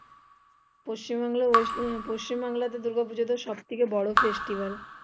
পশ্চিম বাংলা পশ্চিম বাংলাতে দূর্গা পুজোটা সব থেকে বড়ো festivel